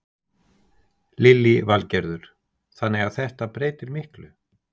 Lillý Valgerður: Þannig að þetta breytir miklu?